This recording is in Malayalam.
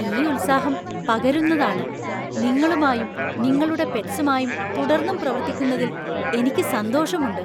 ഈ ഉത്സാഹം പകരുന്നതാണ്! നിങ്ങളുമായും നിങ്ങളുടെ പെറ്റ്സുമായും തുടർന്നും പ്രവർത്തിക്കുന്നതില്‍ എനിക്ക് സന്തോഷമുണ്ട്.